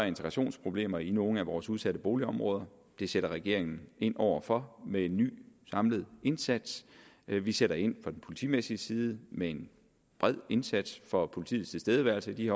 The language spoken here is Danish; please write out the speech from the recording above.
integrationsproblemer i nogle af vores udsatte boligområder det sætter regeringen ind over for med en ny samlet indsats vi sætter ind på den politimæssige side med en bred indsats for politiets tilstedeværelse i de